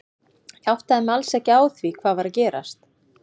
Ég áttaði mig alls ekki á því hvað var að gerast.